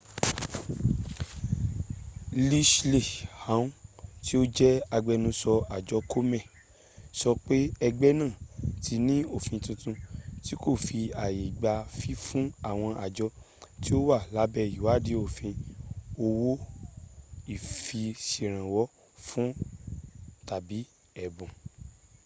leslie aun tí ó jẹ́ agbẹnusọ àjọ komen sọ pé ẹgbẹ́ náà ti ní òfin tuntun tí kò fi ààyè gba fífún àwọn àjọ tí ó wà labẹ́ ìwádìí òfin ní owó-ìfiṣẹ̀rànwọ́-fún tàbí ẹ̀bù